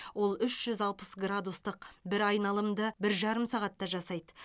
ол үш жүз алпыс градустық бір айналымды бір жарым сағатта жасайды